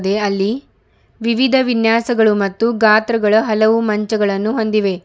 ಇದೆ ಅಲ್ಲಿ ವಿವಿಧ ವಿನ್ಯಾಸಗಳು ಮತ್ತು ಗಾತ್ರಗಳ ಹಲವು ಮಂಚಗಳನ್ನು ಹೊಂದಿವೆ.